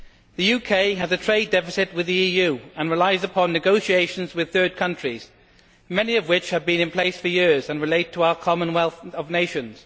The UK has a trade deficit with the EU and relies on negotiations with third countries, many of which have been in place for years and relate to our Commonwealth of Nations.